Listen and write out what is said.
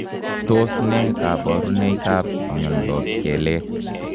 Tos ne koboruneikab mnyondob kelek